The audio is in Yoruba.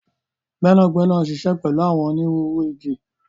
Gbẹnagbẹna n ṣíṣẹ pẹlu àwọn ónirùru ìgi.